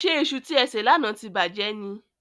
Ṣé iṣu tí e sè lánàá ti bàjẹ́ ni?